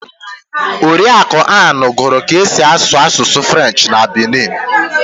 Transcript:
Oriakụ Ann gụrụ kaa esi asụ asụsụ Frenchị na Benin.